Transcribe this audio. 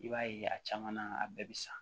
I b'a ye a caman na a bɛɛ bi sa